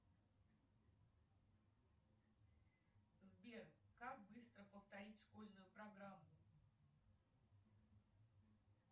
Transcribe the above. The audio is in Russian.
сбер как быстро повторить школьную программу